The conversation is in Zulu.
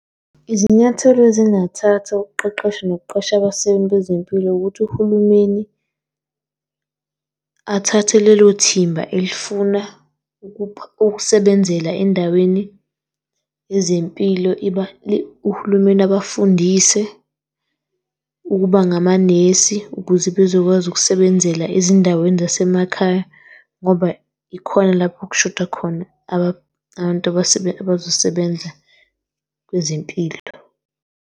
Izinyathelo ezingathathwa ukuqeqesha nokuqasha abasebenzi bezempilo, ukuthi uhulumeni athathe lelo thimba elifuna usebenzela endaweni yezempilo uhulumeni abafundise ukuba ngamanesi ukuze bezokwazi ukusebenzela ezindaweni zasemakhaya ngoba ikhona lapho okushoda khona abantu abazosebenza kwezempilo.